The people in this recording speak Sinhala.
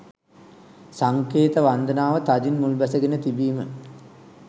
සංකේත වන්දනාව තදින් මුල්බැස ගෙන තිබීම